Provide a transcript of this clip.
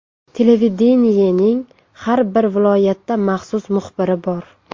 Televideniyening har bir viloyatda maxsus muxbiri bor.